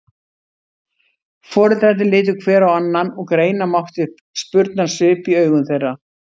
Foreldrarnir litu hver á annan og greina mátti spurnarsvip í augum þeirra.